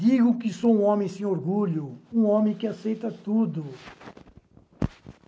Digo que sou um homem sem orgulho, um homem que aceita tudo.